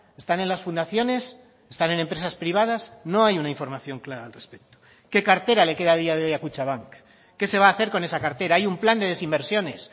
están en las fundaciones están en empresas privadas no hay una información clara al respecto qué cartera le queda a día de hoy a kutxabank qué se va a hacer con esa cartera hay un plan de desinversiones